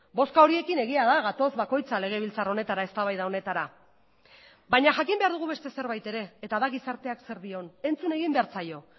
bozka horiekin egia da gatoz bakoitza legebiltzar honetara eztabaida honetara baina jakin behar dugu beste zerbait ere eta da gizarteak zer dion entzun egin behar zaio